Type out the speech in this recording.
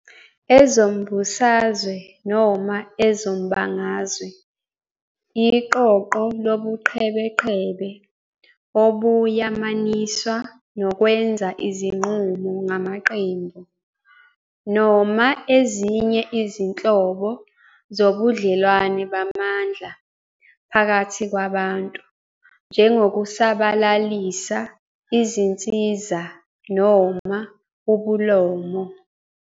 Ezombusazwe, noma ezombangazwe, iqoqo lobuqhebeqhebe obuyamaniswa nokwenza izinqumo ngamaqembu, noma ezinye izinhlobo zobudlelwane bamandla phakathi kwabantu, njengokusabalalisa izinsiza noma ubulomo.